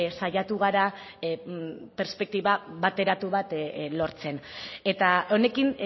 saiatu gara perspektiba bateratu bat lortzen eta honekin